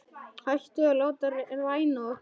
Hættum að láta ræna okkur.